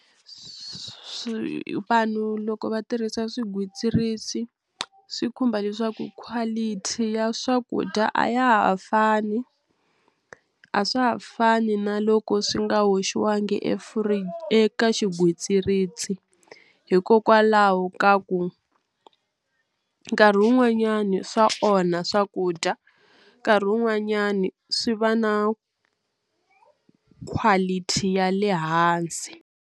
Swi vanhu loko va tirhisa swigwitsirisi swi khumba leswaku quality ya swakudya a ya ha fani a swa ha fani na loko swi nga hoxiwangi efri eka xigwitsirisi hikokwalaho ka ku nkarhi wun'wanyani swa onha swakudya nkarhi wun'wanyani swi va na quality ya le hansi.